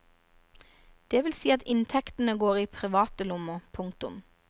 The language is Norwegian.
Det vil si at inntektene går i private lommer. punktum